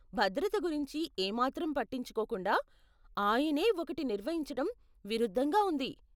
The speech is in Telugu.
భద్రత గురించి ఏ మాత్రం పట్టించుకోకుండా ఆయనే ఒకటి నిర్వహించటం విరుద్ధంగా ఉంది.